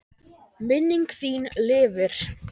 Minning þín lifir.